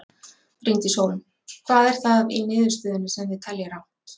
Bryndís Hólm: Hvað er það í niðurstöðunni sem þið teljið rangt?